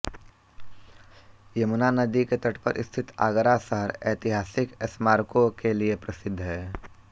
यमुना नदी के तट पर स्थित आगरा शहर ऐतिहासिक स्मारकों के लिए प्रसिद्ध है